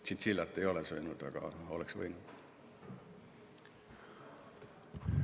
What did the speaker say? Tšintšiljat ei ole söönud, aga oleks võinud süüa.